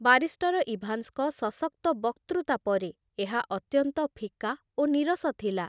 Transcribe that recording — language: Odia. ବାରିଷ୍ଟର ଇଭାନ୍ସଙ୍କ ସଶକ୍ତ ବକ୍ତୃତା ପରେ ଏହା ଅତ୍ୟନ୍ତ ଫିକା ଓ ନୀରସ ଥିଲା।